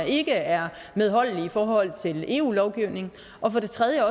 ikke er medholdelige i forhold til eu lovgivningen og for tredje